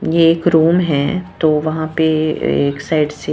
ये क्रोम है तो वहां पे एक साइड से --